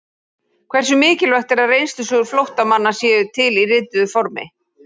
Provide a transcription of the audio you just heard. Hversu mikilvægt er að reynslusögur flóttamanna séu til í rituðu formi?